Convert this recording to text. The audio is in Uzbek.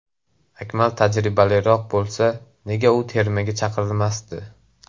Akmal tajribaliroq bo‘lsa, nega u termaga chaqirilmasdi.